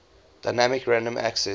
dynamic random access